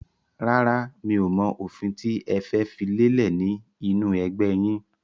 Rárá, mi ò mọ òfin tí ẹ fẹ́ fi lélẹ̀ ni inu ẹgbẹ́ yìn.